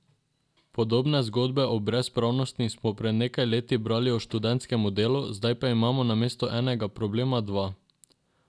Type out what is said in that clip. Podobne zgodbe o brezpravnosti smo pred nekaj leti brali o študentskem delu, zdaj pa imamo namesto enega problema dva.